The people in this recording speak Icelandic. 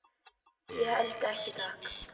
Ég held ekki, takk.